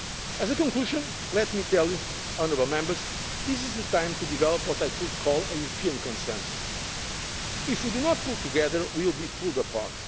and trade. As a conclusion, let me tell you that this is the time to develop what I could call a European consensus if we do not pull together, we will